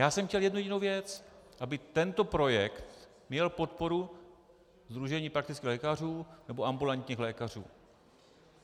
Já jsem chtěl jednu jedinou věc - aby tento projekt měl podporu Sdružení praktických lékařů nebo ambulantních lékařů.